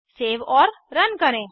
save और run करें